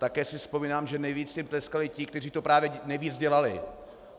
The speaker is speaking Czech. Také si vzpomínám, že nejvíc jim tleskali ti, kteří to právě nejvíc dělali.